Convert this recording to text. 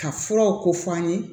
Ka furaw ko fɔ an ye